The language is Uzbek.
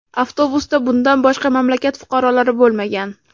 Avtobusda bundan boshqa mamlakat fuqarolari bo‘lmagan.